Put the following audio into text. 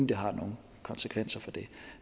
det har nogen konsekvenser for det